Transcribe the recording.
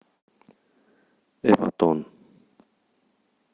эватон